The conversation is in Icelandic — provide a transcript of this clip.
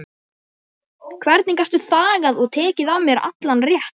Hvernig gastu þagað og tekið af mér allan rétt?